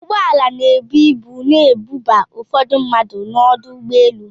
Ụgbọala na-ebu ibu na-ebuba ụfọdụ mmadụ n'ọdụ ụgbọelu.